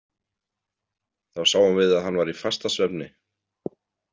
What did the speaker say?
Þá sáum við að hann var í fastasvefni.